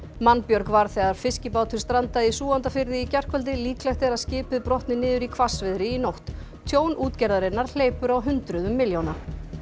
mannbjörg varð þegar fiskibátur strandaði í Súgandafirði í gærkvöldi líklegt er að skipið brotni niður í hvassviðri í nótt tjón útgerðarinnar hleypur á hundruðum milljóna